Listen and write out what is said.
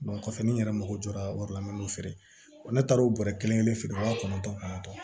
kɔfɛ ni n yɛrɛ mago jɔra wari la n fɛ ne taara o bɔrɛ kelen kelen feere wa kɔnɔntɔn kɔnɔntɔn